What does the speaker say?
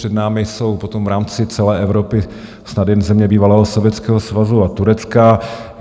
Před námi jsou potom v rámci celé Evropy snad jen země bývalého Sovětského svazu a Turecka.